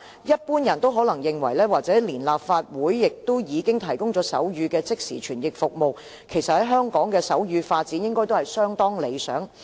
一般人可能認為連立法會也提供手語即時傳譯服務，香港的手語發展應該相當理想。